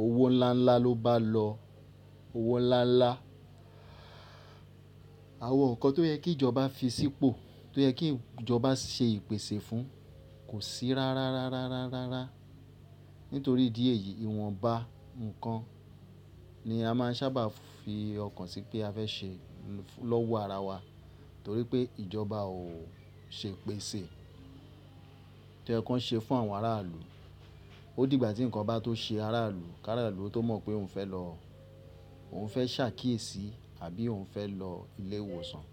owó ńlá ńlá ló bá lọ. Owó ńlá ńlá. Àwọn nǹkan tó yẹ kí ìjọba fi sípò, tó yẹ kí ìjọba ṣe ìpèsè fún kò sí rárá rárá rárá rárá. Nítorí ìdí èyí ìwọ̀nba nǹkan ni a máà ń sábà fi ọkàn sí pé a fẹ́ ṣe lọ́wọ́ ara wa torí pé ìjọba ò ṣe ìpèsè tí oyẹ̀ kiwon ṣe fún àwọn aráàlú. Ó di ìgbà tí nǹkan bá tó ṣe ará ilú, ki ará ilú ó tó mọ̀ pé òun fẹ́ lọ, òun fẹ́ ṣe àkíyèsí àbí òun fẹ́ lọ ilé ìwòsàn.